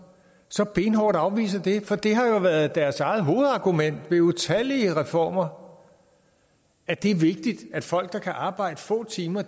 så benhårdt afviser det for det har jo været deres eget hovedargument ved utallige reformer at det er vigtigt at folk der kan arbejde få timer